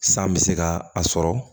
San bɛ se ka a sɔrɔ